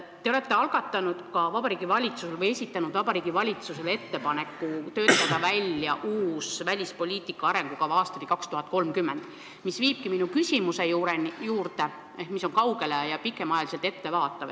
Te olete esitanud Vabariigi Valitsusele ettepaneku töötada välja uus välispoliitika arengukava aastani 2030, mis viibki minu küsimuse juurde, mis on pikema aja peale ettevaatav.